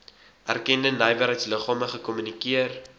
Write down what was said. erkende nywerheidsliggame gekommunikeer